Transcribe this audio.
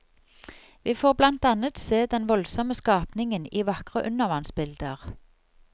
Vi får blant annet se den voldsomme skapningen i vakre undervannsbilder.